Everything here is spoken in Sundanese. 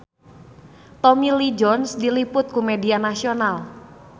Tommy Lee Jones diliput ku media nasional